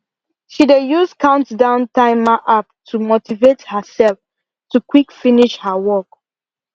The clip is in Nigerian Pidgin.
she dey use countdown timer app to motivate herself to quick finish her work